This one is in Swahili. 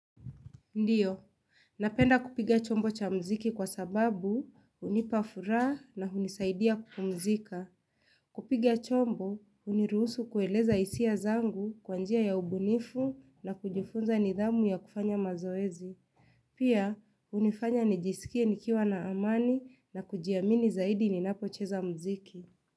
Ndiyo, napenda kupiga chombo cha mziki kwa sababu hunipafura na hunisaidia kupumzika. Kupiga chombo, hunirusu kueleza hisia zangu kwa njia ya ubunifu na kujifunza nidhamu ya kufanya mazoezi. Pia, hunifanya nijisikie nikiwa na amani na kujiamini zaidi ninapocheza mziki.